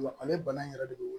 Ale bana in yɛrɛ de don